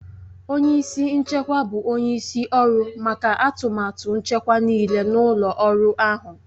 Onye isi nchekwa bụ onye isi ọrụ maka atụmatụ nchekwa nịịle n'ụlọ ọrụ ahụ.